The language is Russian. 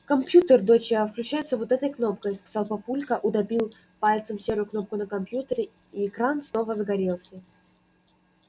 компьютер доча включается вот этой кнопкой сказал папулька утопил пальцем серую кнопку на компьютере и экран снова загорелся